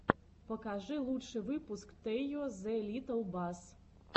покажи лучший выпуск тэйо зе литтл бас